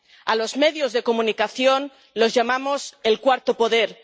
A los medios de comunicación los llamamos el cuarto poder